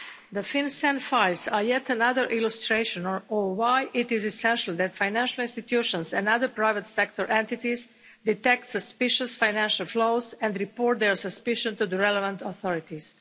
The FinCEN files are yet another illustration of why it is essential that financial institutions and other private sector entities detect suspicious financial flows and report their suspicions to the relevant authorities.